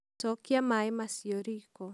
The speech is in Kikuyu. Cokia maĩ macio riiko